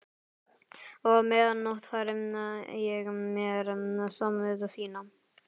Og á meðan notfæri ég mér samúð þína.